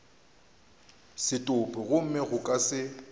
setopo gomme go ka se